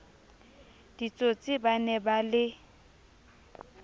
ditsotsi ba ne ba le